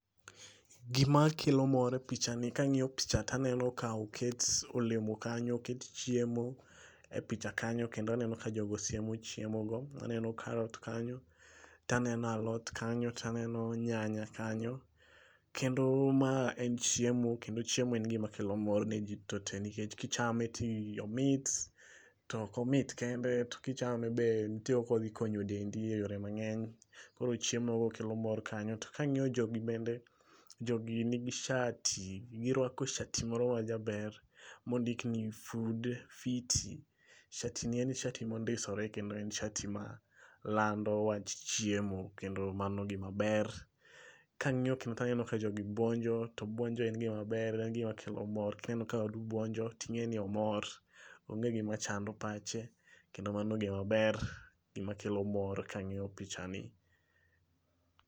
Gima kelo mor e pichani kangiyo picha taneno ka oket olemo kanyo, oket chiemo e picha kanyo kendo aneno ka jogo siemo chiemo go. Aneno carrot kanyo, taneno alot kanyo taneno nyanya kanyo kendo ma en chiemo kendo chiemo en gima kelo mor ne jii duto tee nikech kichame to omit to ok omit kende to kichame be nitie kaka odhi konyo dendi e yore mangeny. Koro chiemo go kelo mor kanyo, to kangiyo jogi bende, jogi nigi shati, girwako shati moro majaber mondik ni food fiti, shati ni en shati mondisore kendo en shati malando wach chiemo kendo mano gima ber. Kangiyo kendo taneno ka jogi buonjo to buonjo en gima ber, en gima kelo mor. Kineno ka wadu buonio tingeni omor, onge gima chando pache kendo mano gimaber, gima kelo mor kangiyo pichani